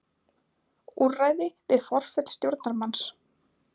Úrræði við forföll stjórnarmanns.